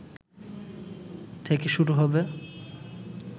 থেকে শুরু হবে